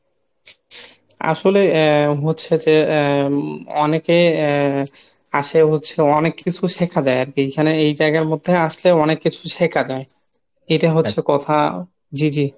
আসলে এ হচ্ছে যে এ অনেকে এ আসে হচ্ছে অনেক কিছু শেখা যায় আরকি এখানে এইজায়গার মধ্যে আসলে অনেক কিছু শেখ যায় এটাই হচ্ছে কথা, জি জি